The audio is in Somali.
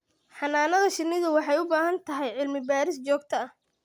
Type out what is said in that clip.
Xannaanada shinnidu waxay u baahan tahay cilmi-baadhis joogto ah.